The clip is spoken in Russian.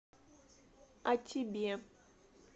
а тебе